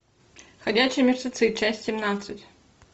ходячие мертвецы часть семнадцать